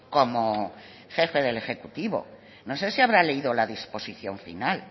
como jefe del ejecutivo no sé si habrá leído la disposición final